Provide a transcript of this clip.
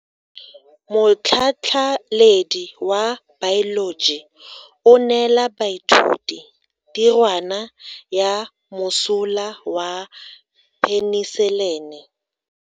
Motlhatlhaledi wa baeloji o neela baithuti tirwana ya mosola wa peniselene.